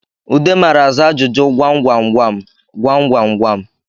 Ude mara aza ajụjụ gwamgwamgwam gwamgwamgwam